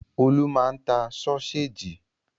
Olú máa ń ta sọ́séjì.